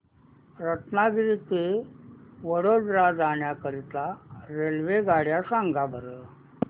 रत्नागिरी ते वडोदरा जाण्या करीता रेल्वेगाड्या सांगा बरं